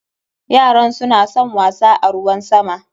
Yaran suna son wasa a ruwan sama.